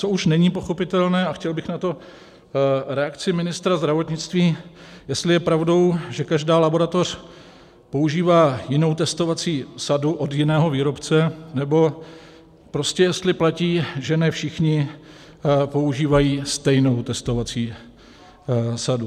Co už není pochopitelné, a chtěl bych na to reakci ministra zdravotnictví, jestli je pravdou, že každá laboratoř používá jinou testovací sadu od jiného výrobce, nebo prostě jestli platí, že ne všichni používají stejnou testovací sadu.